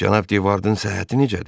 cənab de Vardın səhhəti necədir?